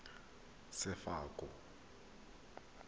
sefako